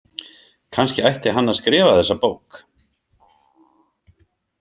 Kannski ætti hann að skrifa þessa bók.